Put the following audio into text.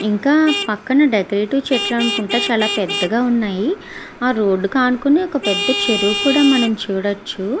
ఇంకా పక్కన డెకరేటివ్ చెట్లనుకుంట చాలా పెద్దగా ఉన్నాయి. ఆ రోడ్డు కు అనుకుని ఒక పెద్ద చెరువు కూడా మనం చూడొచ్చు.